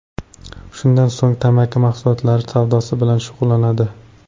Shundan so‘ng tamaki mahsulotlari savdosi bilan shug‘ullanadi.